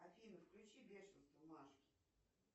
афина включи бешенство машки